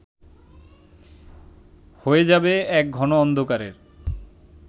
হয়ে যাবে এক ঘন অন্ধকারের